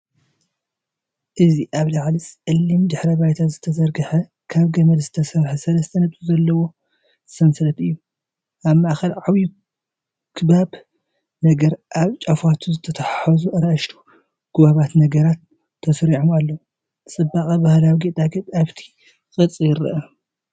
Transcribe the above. እዚ ኣብ ልዕሊ ጸሊም ድሕረ ባይታ ዝተዘርግሐ ካብ ገመድ ዝተሰርሐ ሰለስተ ነጥቢ ዘለዎ ሰንሰለት እዩ። ኣብ ማእከል ዓቢ ክቡብ ነገርን ኣብ ጫፋቱ ዝተተሓሓዙ ንኣሽቱ ክቡባት ነገራትን ተሰሪዖም ኣለዉ። ጽባቐ ባህላዊ ጌጣጌጥ ኣብቲ ቅርጺ ይርአ።